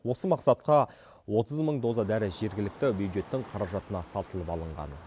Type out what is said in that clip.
осы мақсатқа отыз мың доза дәрі жергілікті бюджеттің қаражатына сатылып алынған